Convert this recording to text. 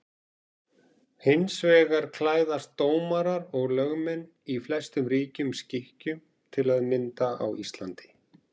Hins vegar klæðast dómarar og lögmenn í flestum ríkjum skikkjum, til að mynda á Íslandi.